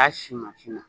A si mansin na